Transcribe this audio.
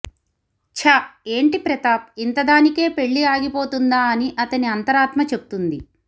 చ్చ ఏంటి ప్రతాప్ ఇంతదానికే పెళ్ళి ఆగిపోతుందా అని అతని అంతరాత్మ చెప్తుంది